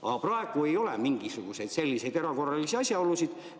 Aga praegu ei ole mingisuguseid selliseid erakorralisi asjaolusid.